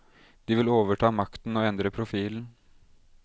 De vil overta makten og endre profilen.